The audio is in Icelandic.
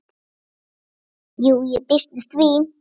Jú, ég býst við því.